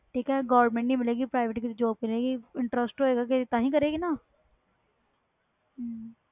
ਠੀਕ govrment ਨਹੀਂ private job ਮਿਲੇ ਗਈ interest ਹੋਵੇ ਗਏ ਤਾਹਿ ਕਰੇ ਗੀ ਨਾ